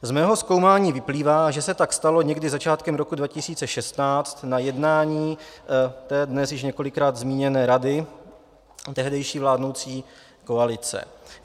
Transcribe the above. Z mého zkoumání vyplývá, že se tak stalo někdy začátkem roku 2016 na jednání té dnes již několikrát zmíněné rady tehdejší vládnoucí koalice.